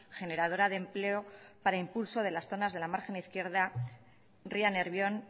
generadora de empleo para impulso de las zonas de la margen izquierda ría nervión